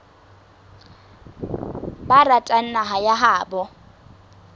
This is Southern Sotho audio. ba ratang naha ya habo